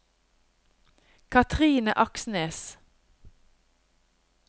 Cathrine Aksnes